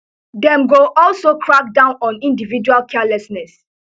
dem go also crack down on individual carelessness